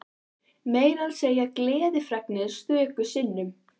Meira að segja gleðifregnir stöku sinnum.